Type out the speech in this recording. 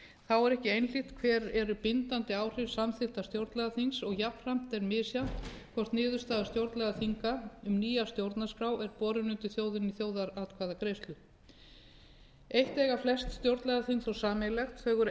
þá er ekki einhlítt hver eru bindandi áhrif samþykkta stjórnlagaþings og jafnframt er misjafnt hvort niðurstaða stjórnlagaþinga um nýja stjórnarskrá er borin undir þjóðina í þjóðaratkvæðagreiðslu eitt eiga flest stjórnlagaþing þó sameiginlegt þau eru